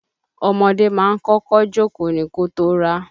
Ọmọdé ma ń kọ́kọ́ jókóò ni kótó rá.